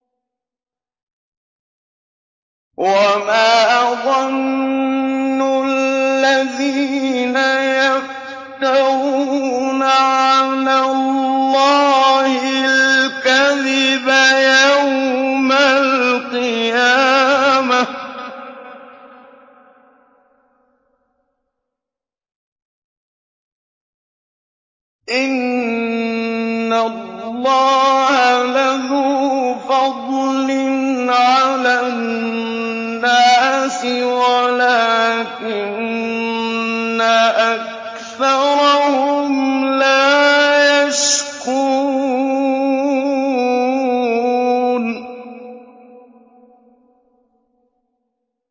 وَمَا ظَنُّ الَّذِينَ يَفْتَرُونَ عَلَى اللَّهِ الْكَذِبَ يَوْمَ الْقِيَامَةِ ۗ إِنَّ اللَّهَ لَذُو فَضْلٍ عَلَى النَّاسِ وَلَٰكِنَّ أَكْثَرَهُمْ لَا يَشْكُرُونَ